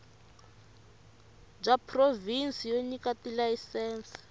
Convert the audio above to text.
bya provhinsi byo nyika tilayisense